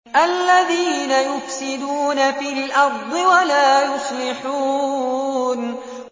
الَّذِينَ يُفْسِدُونَ فِي الْأَرْضِ وَلَا يُصْلِحُونَ